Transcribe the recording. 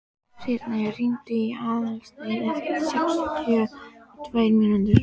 Sírnir, hringdu í Aðalstein eftir sextíu og tvær mínútur.